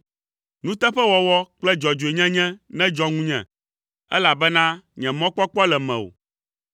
Nuteƒewɔwɔ kple dzɔdzɔenyenye nedzɔ ŋunye, elabena nye mɔkpɔkpɔ le mewò.